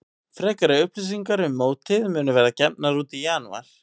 Frekari upplýsingar um mótið munu verða gefnar út í janúar.